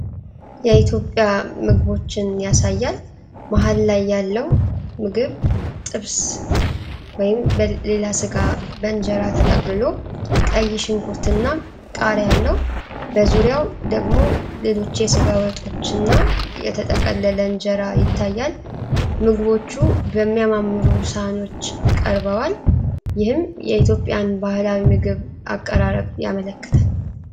የኢትዮጵያ ምግቦችን ያሳያል። መሃል ላይ ያለው ምግብ ጥብስ (ወይም ሌላ ስጋ) በእንጀራ ተጠቅልሎ፣ ቀይ ሽንኩርትና ቃሪያ አለው። በዙሪያው ደግሞ ሌሎች የስጋ ወጦች እና የተጠቀለለ እንጀራ ይታያል። ምግቦቹ በሚያማምሩ ሳህኖች ቀርበዋል፣ ይህም የኢትዮጵያን ባህላዊ ምግብ አቀራረብ ያመለክታል።